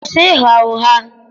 kwụsị ịgha ụgha!